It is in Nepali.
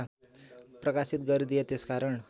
प्रकाशित गरिदिए त्यसकारण